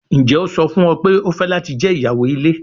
Njẹ o sọ fun ọ pe o fẹ lati jẹ iyawo ile?